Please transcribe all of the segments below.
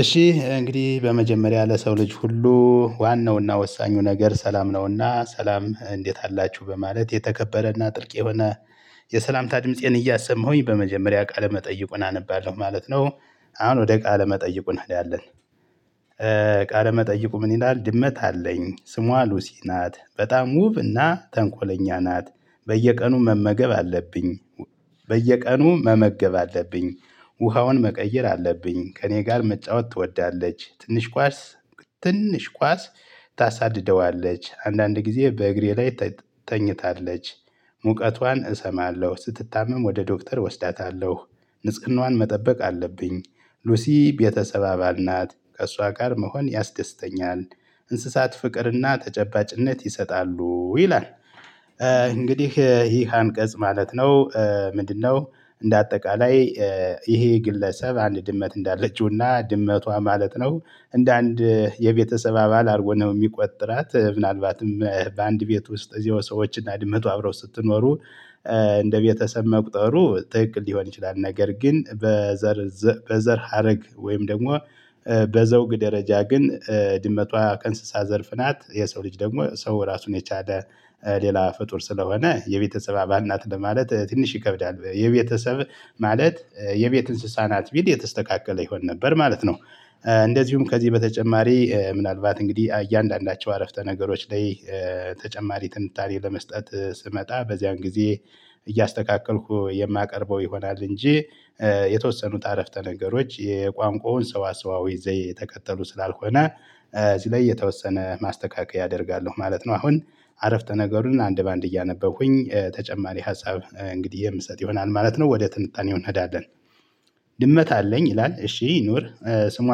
እሺ፣ እንግዲህ በመጀመሪያ ለሰው ልጅ ሁሉ ዋናውና ወሳኙ ነገር ሰላም ነውና፣ ሰላም እንዴት አላችሁ በማለት የተከበረና ጥልቅ የሆነ የሰላምታ ድምፄን እያሰማሁኝ በመጀመሪያ ቃለ መጠይቁን አነባለሁ ማለት ነው፤ አሁን ወደ ቃለ መጠይቁን እንሄዳለን፤ ቃለ መጠይቁ ምን ይላል፤ ድመት አለኝ ስሟ ሉሲ ናት፤ በጣም ዉብ እና ተንኮለኛ ናት፤ በየቀኑ መመገብ አለብኝ፤ በየቀኑ መመገብ አለብኝ፤ ውሃዋን መቀየር አለብኝ፤ ከእኔ ጋር መጫወት ትወዳለች፤ ትንሽ ኳስ፣ ትንሽ ኳስ ታሳድደዋለች፤ አንዳንድ ጊዜ በእግሬ ላይ ተኝታለች፤ ሙቀቷን እሰማለሁ፤ ስትታመም ወደ ዶክተር ወስዳታለሁ፤ ንጽህናዋን መጠበቅ አለብኝ፤ ሉሲ ቤተሰብ አባል ናት፤ ከእሷ ጋር መሆን ያስደስተኛል፤ እንስሳት ፍቅርና ተጨባጭነት ይሰጣሉ፤ ይላል። እንግዲህ ይህ አንቀጽ ማለት ነው፤ ምንድነው? እንደ አጠቃላይ ይሄ ግለሰብ አንድ ድመት እንዳለችውና፤ ድመቷ ማለት ነው እንደ አንድ የቤተሰብ አባል አድርጎ ነው የሚቆጥራት፤ ምናልባትም በአንድ ቤት ውስጥ እዚያው ሰዎችና ድመቱ አብረው ስትኖሩ፤ እንደ ቤተሰብ መቁጠሩ ትክክል ሊሆን ይችላል፤ ነገር ግን በዘር በዘር ሀረግ ወይም ደግሞ በዘውግ ደረጃ ግን ድመቷ ከእንስሳ ዘርፍ ናት፤ የሰው ልጅ ደግሞ ሰው ራሱን የቻለ ሌላ ፍጡር ስለሆነ የቤተሰብ አባል ናት ለማለት ትንሽ ይከብዳል፤ የቤተሰብ ማለት የቤት እንስሳ ናት ቢል የተስተካከለ ይሆን ነበር ማለት ነው፤ እንደዚሁም፣ ከዚህ በተጨማሪ ምናልባት እንግዲህ እያንዳንዳቸው ዓረፍተ ነገሮች ላይ ተጨማሪ ትንታኔ ለመስጠት ስመጣ፤ በዚያን ጊዜ እያስተካከልኩ የማቀርበው ይሆናል እንጂ የተወሰኑት ዓረፍተ ነገሮች የቋንቋውን ሰዋሰዋዊ ዘይቤ እየተከተሉ ስላልሆነ፣ እዚህ ላይ የተወሰነ ማስተካከያ አደርጋለሁ ማለት ነው፤ አሁን ዓረፍተ ነገሩን አንድ በአንድ እያነበብኩኝ ተጨማሪ ሀሳብ እንግዲህ የምሰጥ ይሆናል ማለት ነው ወደ ትንታኔው እንሄዳለን፤ ድመት አለኝ ይላል፤ እሺ ይኑር ስሟ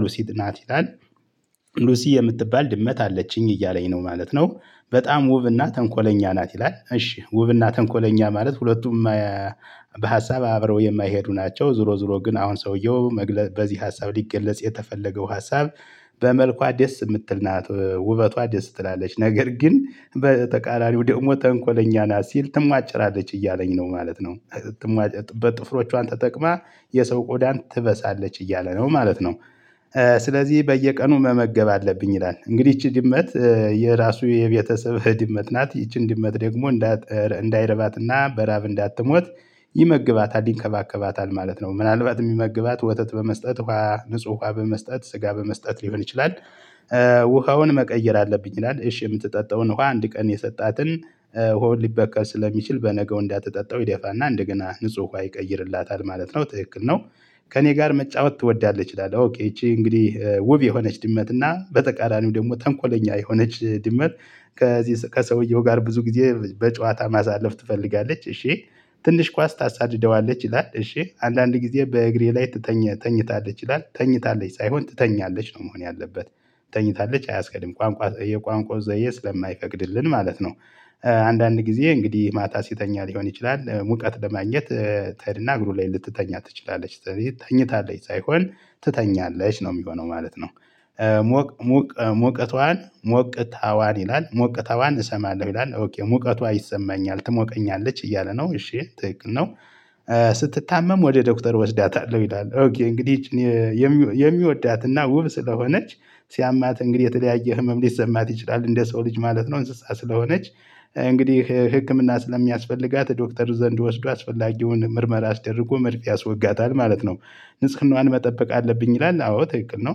ሉሲ ናት ይላል፤ ሉሲ የምትባል ድመት አለችኝ እያለኝ ነው ማለት ነው፤ በጣም ውብና ተንኮለኛ ናት ይላል፤ እሺ፣ ውብና ተንኮለኛ ማለት ሁለቱም በሀሳብ አብረው የማይሄዱ ናቸው፤ ዙሮ ዙሮ ግን አሁን ሰውየው በዚህ ሀሳብ ሊገለጽ የተፈለገው ሀሳብ በመልኳ ደስ የምትል ናት ውበቷ ደስ ትላለች፤ ነገር ግን በተቃራኒው ደግሞ ተንኮለኛ ናት፤ ሲል ትማጭራለች እያለኝ ነው ማለት ነው፤ በጥፍሮቿን ተጠቅማ የሰው ቆዳን ትበሳለች እያለ ነው ማለት ነው፤ ስለዚህ በየቀኑ መመገብ አለብኝ ይላል፤ እንግዲህ ይቺ ድመት የራሱ የቤተሰብ ድመት ናት፤ ይቺን ድመት ደግሞ እንዳይረባትና በራብ እንዳትሞት ይመግባታል፣ ይንከባከባታል ማለት ነው፤ ምናልባት የሚመግባት ወተት በመስጠት፣ ንጹህ ውሃ በመስጠት፤ ስጋ በመስጠት ሊሆን ይችላል፤ ውሃዉን መቀየር አለብኝ ይላል፤ እሺ፣ የምትጠጣውን ውሃ አንድ ቀን የሰጣትን ዉሃው ሊበከል ስለሚችል በነገው እንዳትጠጣው ይደፋና እንደገና ንጹህ ውሃ ይቀይርላታል ማለት ነው፤ ትክክል ነው፤ ከእኔ ጋር መጫወት ትወዳለች ይላል፤ ኦኬ፣ ይቺ እንግዲህ ውብ የሆነች ድመት እና በተቃራኒው ደግሞ ተንኮለኛ የሆነች ድመት ከዚህ ከሰውየው ጋር ብዙ ጊዜ በጨዋታ ማሳለፍ ትፈልጋለች፤ እሺ፣ ትንሽ ኳስ ታሳድደዋለች ይላል፤ እሺ፣ አንዳንድ ጊዜ በእግሬ ላይ ትተኛ ተኝታለች ይላል፤ ተኝታለች ሳይሆን፣ ትተኛለች ነው መሆን ያለበት፤ ተኝታለች አያስሄድም፤ ቋንቋ የቋንቋ ዘየ ስለማይፈቀቅድልን ማለት ነው፤ አንዳንድ ጊዜ፣ እንግዲህ ማታ ሲተኛ ሊሆን ይችላል፤ ሙቀት ለማግኘት ትሄድና እግሩ ላይ ልትተኛ ትችላለች፤ ስለዚህ ተኝታለች ሳይሆን ትተኛለች ነው የሚሆነው ማለት ነው፤ ሙቀቷን፣ ሞቅታዋን ይላል፤ ሞቅታዋን እሰማለሁ ይላል፤ ሙቀቷ ይሰማኛል፤ ትሞቀኛለች እያለ ነው፤ እሺ፣ ትክክል ነው፤ ስትታመም ወደ ዶክተር እወስዳታለሁ ይላል፤ ኦኬ፣ እንግዲህ ይቺን የሚወዳትና ውብ ስለሆነች ሲያማት እንግዲህ የተለያየ ህመም ሊሰማት ይችላል እንደ ሰው ልጅ ማለት ነው እንስሳ ስለሆነች። እንግዲህ ህክምና ስለሚያስፈልጋት ዶክተሩ ዘንድ ወስዶ አስፈላጊውን ምርመራ አስደርጎ መርፌ ያስወጋታል ማለት ነው። ንጽህናዋን መጠበቅ አለብኝ ይላል አዎ ትክክል ነው።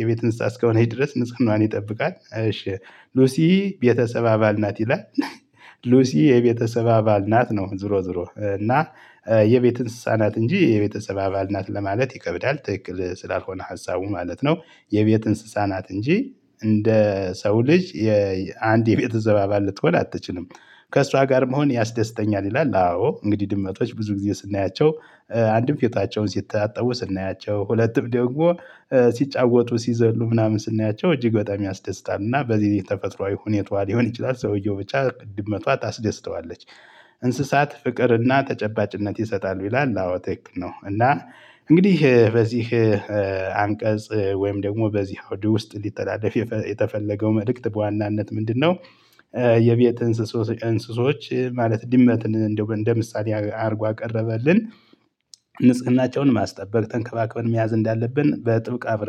የቤት ንፅህንዋን እስከሆነች ድረስ ንፅህናዋን ይጠብቃል እሺ ሉሲ ቤተሰብ አባል ናት ይላል። ሉሲ የቤተሰብ አባል ናት ነው ዞሮ ዞሮ እና የቤት እንስሳ ናት እንጂ የቤተሰብ አባል ናት ለማለት ይከብዳል ትክክል ስላልሆነ ሀሳቡ ማለት ነው። የቤት እንስሳ ናት እንጂ እንደ ሰው ልጅ አንድ የቤተሰብ አባል ልትሆን አትችልም። ከሷ ጋር መሆን ያስደስተኛል ይላል። አዎ እንግዲህ ድመቶች ብዙ ጊዜ ስናያቸው አንድም ፊታቸውን ሲታጠቡ ስናያቸው ሁለትም ደግሞ ሲጫወቱ ሲዘሉ ምናምን ስናያቸው እጅግ በጣም ያስደስታል እና በዚህ የተፈጥሮአዊ ሁኔታዋ ሊሆን ይችላል ሰውየው ብቻ ትድመቷ ታስደስተዋለች። እንስሳት ፍቅርና ተጨባጭነት ይሰጣሉ ይላል አዎ ትክክል ነው። እና እንግዲህ በዚህ አንቀጽ ወይም ደግሞ በዚህ አውድ ውስጥ ሊተላለፍ የተፈለገው መልእክት በዋናነት ምንድነው? የቤት እንስሶች ማለት ድመትን እንደው እንደ ምሳሌ አድርጎ አቀረበልን ንጽህናቸውን ማስጠበቅ ተንከባክበን መያዝ እንዳለብን በጥብቅ አብረን